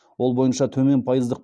ол бойынша төмен пайыздық